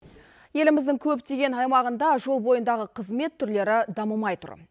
еліміздің көптеген аймағында жол бойындағы қызмет түрлері дамымай тұр